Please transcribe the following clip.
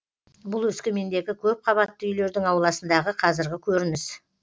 бұл өскемендегі көпқабатты үйлердің ауласындағы қазіргі көрініс